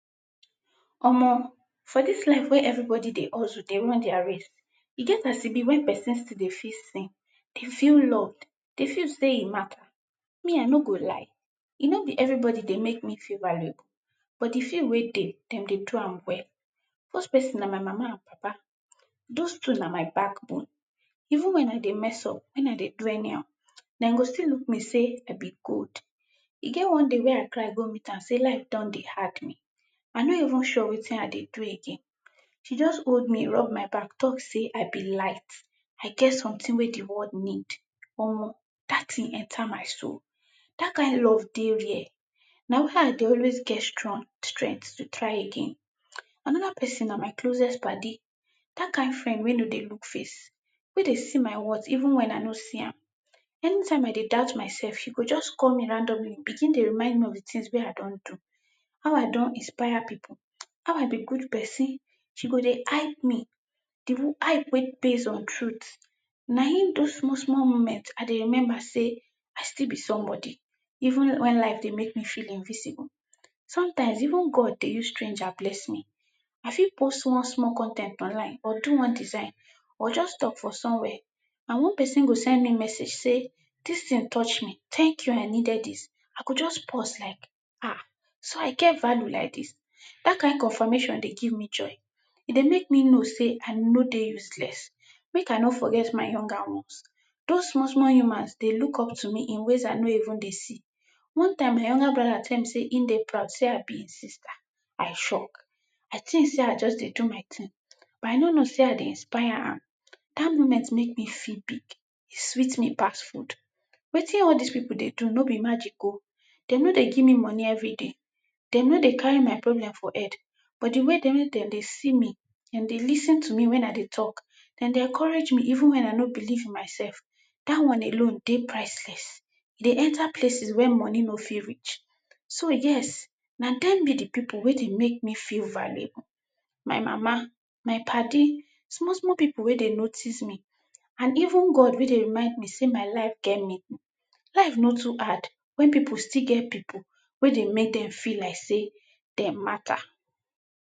Omo! For dis life wey everybody dey hustle dey run dia race, e get as e be wey person still dey feel seen, dey feel loved, dey feel sey e mata. Me I no go lie, no be everybody dey mek me feel valuable, but di few wey dey, dem dey do am well. Dose person na my mama and papa. Dose two na my back bone. Even wen I dey mess up wen I dey do anyhow, den go still look me sey I be gold. E get one day wey I cry go meet am sey life don dey hard me, I no even sure wetin I dey do again. She just hold me, rub my back talk sey I be light, I get sometin wey di world need. Omo! Dat tin enter my soul, dat kind love dey rare, na why I dey always get strong strengt to try again. Anoda person na my closest padi, dat kind friend wey no dey look face, wey dey see my wort even when I no see am. Any time I dey doubt myself, she go just call me randomly, begin dey remind me of di tins wey I don do, how I don inspire pipu, how I be good person, she go dey hype me, di hype wey base on trut, naim dose small small moments I dey remember sey I still be somebody even when life dey mek me feel invisible. Sometimes even God dey use stranger bless me. I fit post one small con ten t online or do one design, or just talk for somewhere, and one person go send me message sey dis tin touch me, tank you, I needed dis, I go just pause like, ah! So I get value like dis? Dat kind confirmation dey give me joy, e dey mek me know sey I no dey useless. Mek I no forget my younger ones, dose small small humans dey look up to me in ways I no even dey see. One time my younger broda tell me sey e dey proud sey I be e sister, I shock, I tink sey I just dey do my tin but I no know sey I dey inspire am. Dat moment mek me feel big, e sweet me pass food. Wetin all dis pipu dey do no be magic o, den no dey give me money every day, den nor dey carry my problem for head, but di way den wey den dey see me, den dey lis ten to me wen I dey talk, den dey encourage me even wen I no believe in myself. Dat one alone dey priceless, e dey enter places wey money no fit reach. So yes, na den be di pipu wey dey mek me feel valuable, my mama, my padi, small small pipu wey dey notice me and even God wey dey remind me sey my life get meaning. Life no too hard wen pipu still get pipu wey dey mek den fel like sey den mata.